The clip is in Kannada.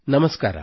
ನಮಸ್ಕಾರ